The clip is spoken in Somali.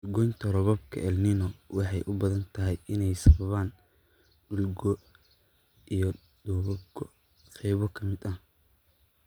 "Dhul goynta roobabka Elnino waxay u badan tahay inay sababaan dhul go' iyo dhoobo go'ay qaybo ka mid ah"